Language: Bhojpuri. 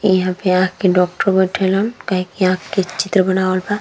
इहा पे आँख के डॉक्टर बइठल हन काहे की आँख के चित्र बनावल बा।